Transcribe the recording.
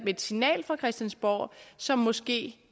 et signal fra christiansborg som måske